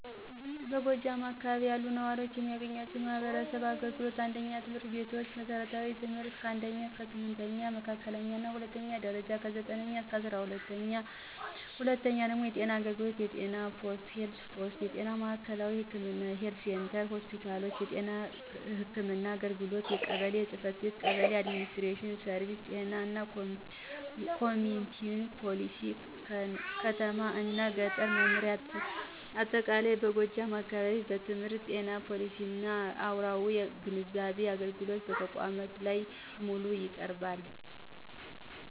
በጎጃም አካባቢ ያሉ ነዋሪዎች የሚያገኟቸው የማህበረሰብ አገልግሎቶች: 1. ትምህርት ቤቶች መሠረታዊ ትምህርት (1ኛ–8ኛ ክፍል) መካከለኛ እና ሁለተኛው ደረጃ(9ኛ-12ኛ ክፍል) 2. ጤና አገልግሎቶች የጤና ፖስት (Health Posts) የጤና ማዕከላዊ ህክምና (Health Centers) ሆስፒታሎች የጤና ህክምና ግንባታ 1. ቀበሌ ጽ/ቤቶች (Kebele & Administrative Services ጤና እና ኮሚኩኒቲ ፖሊሲ ከተማ እና ገጠር መምሪያ በአጠቃላይ በጎጃም አካባቢ በትምህርት በጤና በፖሊሲና አራዊ ግንዛቤ አገልግሎት በተቋማት ላይ በሙሉ ይቀርባል።